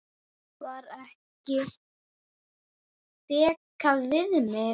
Þar var dekrað við mig.